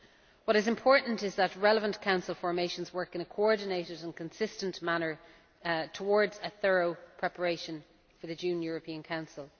What is important is that relevant Council formations work in a coordinated and consistent manner towards a thorough preparation for the June European Council.